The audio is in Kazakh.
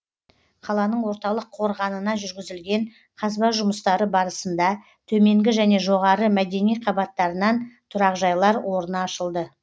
қаланың орталық қорғанына жүргізілген қазба жұмыстары барысында төменгі және жоғары мәдени қабаттарынан тұрақжайлар орны ашылды